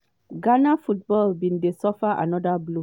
ghana football bin dey suffer anoda blow.